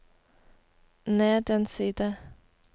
ned en side